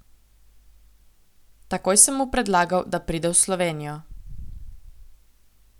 Takoj sem mu predlagal, da pride v Slovenijo.